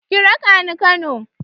Ki raka ni Kano.